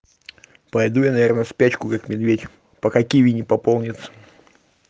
пойду я наверное в спячку как медведь пока киви не пополнят